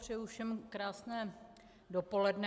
Přeji všem krásné dopoledne.